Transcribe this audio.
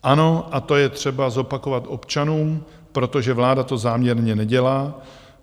Ano, a to je třeba zopakovat občanům, protože vláda to záměrně nedělá.